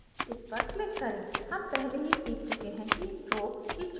हम पहले ही सीख चुके हैं कि stroke की चौडाई को कैसे बदलें